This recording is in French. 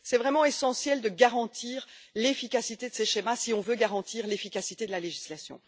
C'est vraiment essentiel de garantir l'efficacité de ces schémas si on veut garantir l'efficacité de la législation.